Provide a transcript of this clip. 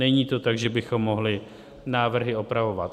Není to tak, že bychom mohli návrhy opravovat.